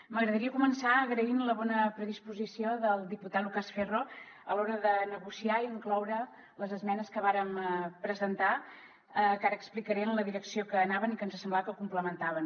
m’agradaria començar agraint la bona predisposició del diputat lucas ferro a l’hora de negociar i incloure les esmenes que vàrem presentar que ara explicaré en la direcció que anaven i que ens semblava que ho complementaven